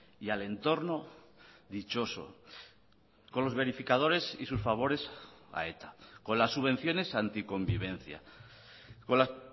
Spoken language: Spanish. y al entorno dichoso con los verificadores y sus favores a eta con las subvenciones anticonvivencia con las